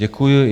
Děkuji.